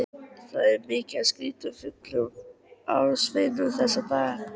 Það er mikið af skrýtnum fuglum á sveimi þessa dagana.